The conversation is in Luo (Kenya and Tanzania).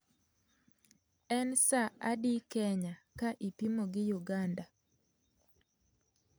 En sa adi kenya ka ipimo gi uganda